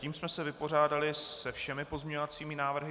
Tím jsme se vypořádali se všemi pozměňovacími návrhy.